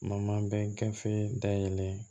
Ma bɛn gafe dayɛlɛ